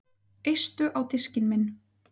Eistu á diskinn minn